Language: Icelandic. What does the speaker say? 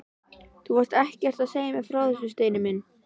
Þú varst ekkert að segja mér frá þessu, Steini minn!